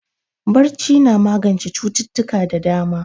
Barci na magance cututtuka da dama.